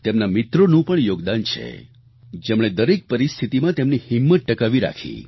તેમના મિત્રોનું પણ યોગદાન છે જેમણે દરેક પરિસ્થિતીમાં તેમની હિંમત ટકાવી રાખી